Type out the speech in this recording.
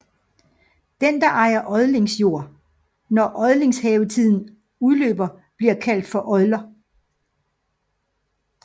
Den som ejer odlingsjord når odelshævdstiden udløber bliver kaldt for odler